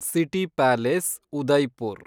city Palace, Udaipur